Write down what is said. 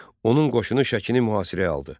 Onun qoşunu Şəkini mühasirəyə aldı.